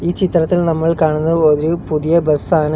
ഈ ചിത്രത്തിൽ നമ്മൾ കാണുന്നത് ഒരു പുതിയ ബസ്സാണ് .